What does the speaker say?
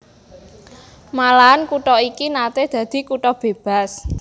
Malahan kutha iki naté dadi kutha bébas